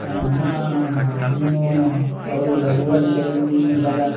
ಅಹ್ ನಮ್ ಅಮ್ಮ ಮೀನು ಅವ್ರ್ ಊರಲ್ಲಿ ಕೆರೇಲಿ ಮೀನ್ ಹಿಡಿದಾಗ --